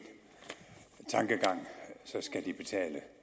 tankegang skal